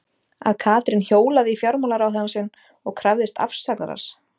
Að Katrín hjólaði í fjármálaráðherrann sinn og krefðist afsagnar hans?